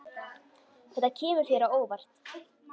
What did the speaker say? Þetta kemur þér á óvart.